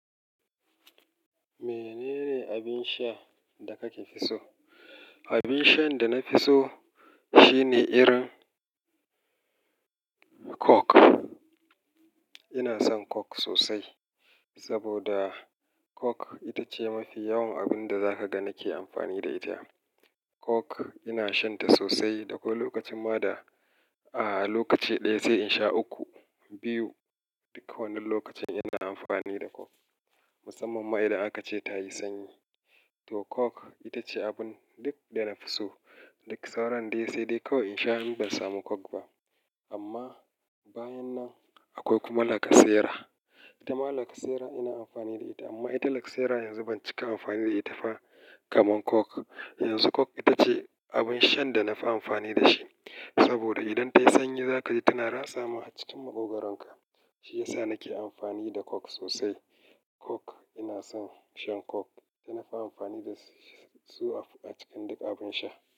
Menene abin sha da kake fi so? Abin shan da na fi so shine irin Coke. Ina son Coke sosai, saboda Coke ita ce mafi yawan abin da za ka ga nake amfani da ita. Coke ina shanta sosai, da kullum lokacin ma da a lokaci ɗaya sai in sha uku, biyu. Duk wannan lokacin ina amfani da Coke, musamman ma idan aka ce ta yi sanyi. To Coke ita ce abun duk da na fi so. Duk sauran dai sai dai kawai in sha, in ban samu Coke ba. Amma bayan nan akwai kuma lacasera. Ita ma lacasera ina amfani da ita, amma ita lacasera yanzu ban cika amfani da ita ba kamar Coke. Yanzu Coke ita ce abin shan da na fi amfani da shi. Saboda idan ta yi sanyi za ka ji tana rasa ma a cikin maƙogaronka. Shi ya sa nake amfani da Coke sosai. Coke ina son shan Coke. Ina fi amfani da su a cikin duk abin sha.